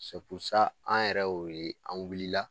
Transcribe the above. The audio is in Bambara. an yɛrɛ y'o ye an wulila